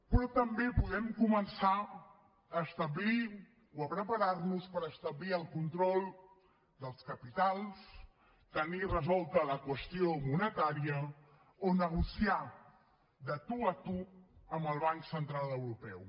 però també podem començar a establir o a preparar nos per establir el control dels capitals tenir resolta la qüestió monetària o negociar de tu a tu amb el banc central europeu